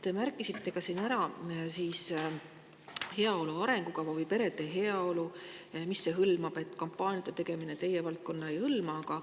Te märkisite ära, mida heaolu arengukava või perede heaolu hõlmab, ning ütlesite, et kampaaniate tegemine teie valdkonna alla ei käi.